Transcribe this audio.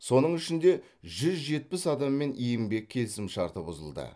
соның ішінде жүз жетпіс адаммен еңбек келісімшарты бұзылды